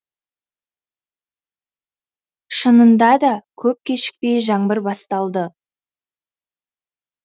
шынында да көп кешікпей жаңбыр басталды